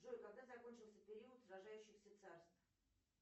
джой когда закончился период сражающихся царств